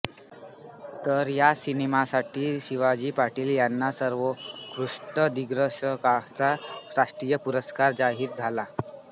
तर याच सिनेमासाठी शिवाजी पाटील यांना सर्वोत्कृष्ट दिग्दर्शकाचा राष्ट्रीय पुरस्कार जाहीर झाला